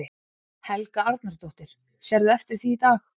Helga Arnardóttir: Sérðu eftir því í dag?